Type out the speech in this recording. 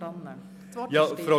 – Hier ist er.